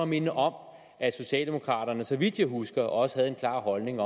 minde om at socialdemokraterne så vidt jeg husker også havde en klar holdning